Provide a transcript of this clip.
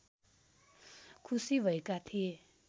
खुसी भएका थिए